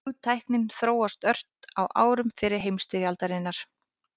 Flugtæknin þróaðist ört á árum fyrri heimsstyrjaldarinnar.